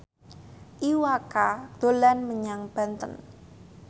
Iwa K dolan menyang Banten